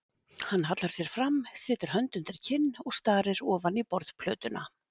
Hann hallar sér fram, setur hönd undir kinn og starir ofan í borðplötuna.